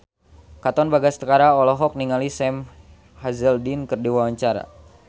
Katon Bagaskara olohok ningali Sam Hazeldine keur diwawancara